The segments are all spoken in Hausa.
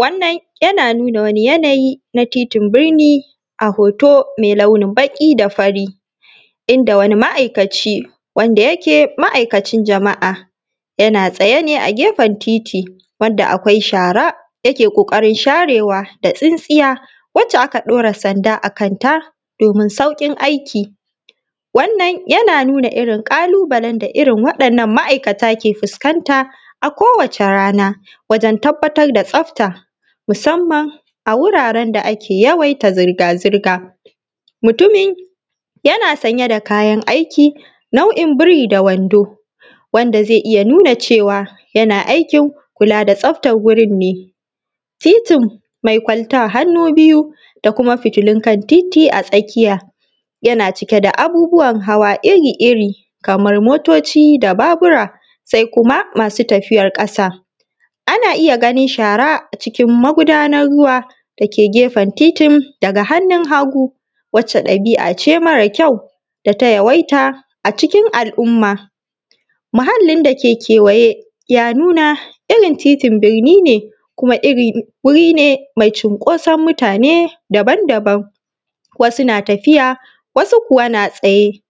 Wannan yana nuna wani yanayi na titin birni a hoto mai launin baƙi da fari, inda wani ma'aikaci, wanda yake ma'aikacin jama’a, yana tsaye ne a gefen titi, wanda akwai shara, yake ƙoƙarin sharewa da tsintsiya, wacce aka ɗora sanda a kanta domin sauƙin aiki. Wannan yana nuna irin ƙalubalen da irin waɗannan ma'aikata ke fuskanta a kowace rana, wajen tabbatar da tsafta, musamman a wuraren da ake yawaita zirga-zirga. Mutumin, yana sanye da kayan aiki, nau'in biri-da-wando, wanda zai iya nuna cewa yana aikin kula da tsaftar wurin ne. Titin mai kwalta hannu biyu, da kuma fitilun kan titi a tsakiya, yana cike da abubuwan hawa iri-iri, kamar motoci da babura, sai kuma masu tafiyar ƙasa. Ana iya ganin shara a cikin magudanar ruwa da ke gefen titin daga hannun hagu, wacce ɗabi'a ce mara kyau, da ta yawaita a cikin al'umma. Muhallin da ke kewaye, ya nuna irin titin birni ne kuma irin wuri ne mai cinkoson mutane daban-daban, wasu na tafiya, wasu kuwa na tsaye.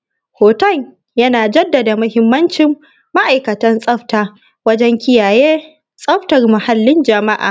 Hoton yana jaddada muhimmancin ma'aikatan tsafta, wajen kiyaye tsaftar muhallin ǳama’a.